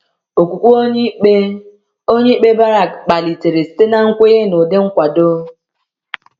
Okwukwe onyeikpe onyeikpe Barak kpalitere site na nkwenye n'ụdị nkwado.